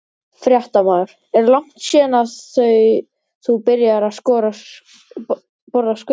Fréttamaður: Er langt síðan að þú byrjaðir að borða skötu?